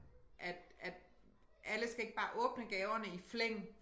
At at alle skal ikke bare åbne gaverne i flæng